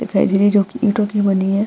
दिखाई दे रही है जो कि ईंटो की बनी है --